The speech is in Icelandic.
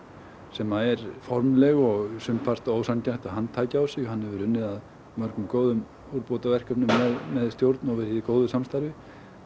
sem er formleg og sumpart ósanngjarnt að hann tæki á sig hann hefur unnið að nokkrum góðum umbótarverkefnum með stjórn og verið í góðu samstarfi